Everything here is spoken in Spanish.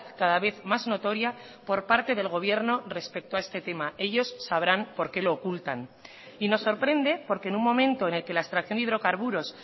cada vez más notoria por parte del gobierno respecto a este tema ellos sabrán por qué lo ocultan y nos sorprende porque en un momento en el que la extracción de hidrocarburos